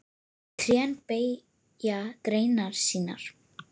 Trén beygja greinar sínar.